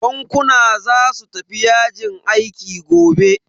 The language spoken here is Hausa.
Bankuna za su tafi yajin aiki gobe.